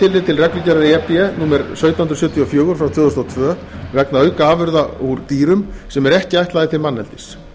e b númer sautján hundruð sjötíu og fjögur tvö þúsund og tvö vegna aukaafurða úr dýrum sem eru ekki ætlaðar til manneldis